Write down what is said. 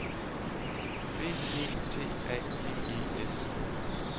B E T A G E S